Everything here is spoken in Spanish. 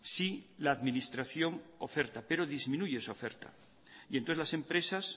si la administración oferta pero disminuye esa oferta y entonces las empresas